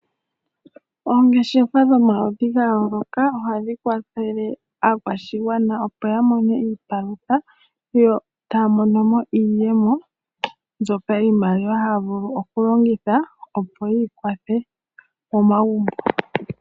Oongeshefa dhomaludhi ga yooloka ohadhi kwathele aakwashigwana opo ya mone iipalutha yo taya monomo iiyemo mbyoka iimaliwa haya vulu okulongitha opo yiikwathwe momagumbo.